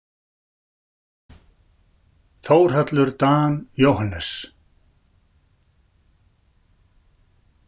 Þórhallur Dan Jóhannes.